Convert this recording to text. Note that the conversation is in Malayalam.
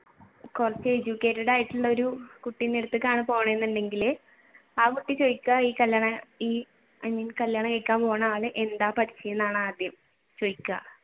കുറച്ചു educated ആയിട്ടുള്ളൊരു കുട്ടിന്റെ അടുത്തേക്കാണ് പോണേന്നുണ്ടെങ്കിൽ ആ കുട്ടി ചോദിക്കുക കല്യാണം കഴിക്കാൻ പോകുന്ന ആൾ എന്താ പഠിച്ചെന്നാ ആദ്യം ചോദിക്കുക